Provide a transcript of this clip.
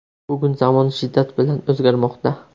Bugun zamon shiddat bilan o‘zgarmoqda.